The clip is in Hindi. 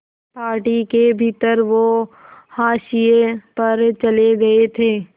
पार्टी के भीतर वो हाशिए पर चले गए थे